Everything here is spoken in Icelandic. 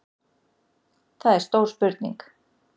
Það er stór spurning